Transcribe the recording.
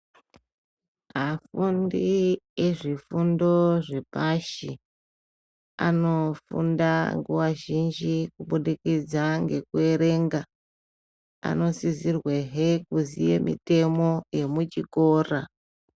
Afundi ezvifundo zvepashianofunda nguva zhinji kubudikidza ngekuerenga, anosisirwehe kuziye mitemo yemuchikora.